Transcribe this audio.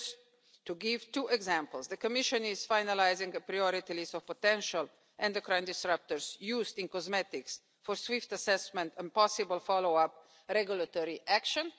Just to give two examples the Commission is finalising a priority list of potential endocrine disruptors used in cosmetics for swift assessment and possible follow up regulatory action